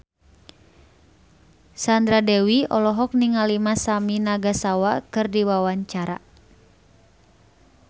Sandra Dewi olohok ningali Masami Nagasawa keur diwawancara